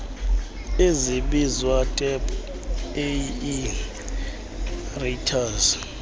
ezibizwa tap aerators